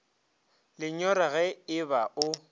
lenyora ge e ba o